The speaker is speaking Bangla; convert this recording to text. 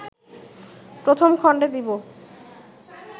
প্রথম খণ্ডে দিব